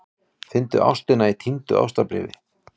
Fundu ástina í týndu ástarbréfi